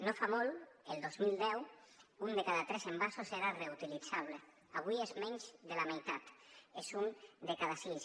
no fa molt el dos mil deu un de cada tres envasos era reutilitzable avui és menys de la meitat és un de cada sis